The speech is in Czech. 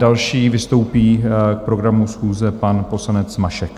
Další vystoupí k programu schůze pan poslanec Mašek.